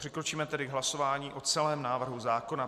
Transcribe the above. Přikročíme tedy k hlasování o celém návrhu zákona.